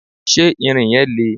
ṣé ìrìn yẹn le?